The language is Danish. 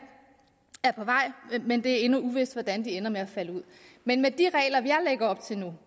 er på vej men det er endnu uvist hvordan det ender med at falde ud men med de regler jeg lægger op til nu